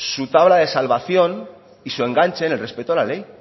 su tabla de salvación y su enganche en el respeto a la ley